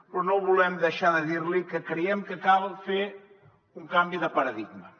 però no volem deixar de dir li que creiem que cal fer un canvi de paradigma